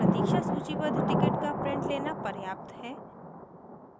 प्रतीक्षा सूचीबद्ध टिकट का print लेना पर्याप्त है